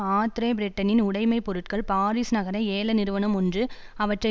Andre பிரெட்டனின் உடைமை பொருட்கள் பாரிஸ் நகர ஏல நிறுவனம் ஒன்று அவற்றை